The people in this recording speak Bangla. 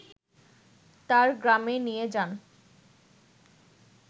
তার গ্রামে নিয়ে যান